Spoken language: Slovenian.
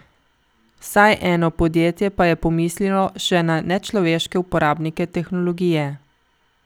Vsaj eno podjetje pa je pomislilo še na nečloveške uporabnike tehnologije.